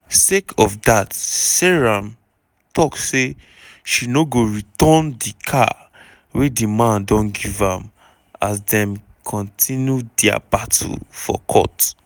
sake of dat seyram tok say she no go return di car wey di man don give am as dem kontinu dia battle for court.